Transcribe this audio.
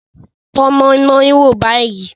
Tọ́ moi-moi wò báyìí.